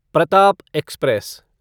Pratap express